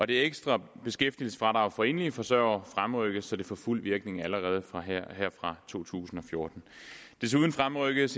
det ekstra beskæftigelsesfradrag for enlige forsørgere fremrykkes så det får fuld virkning allerede her fra to tusind og fjorten desuden fremrykkes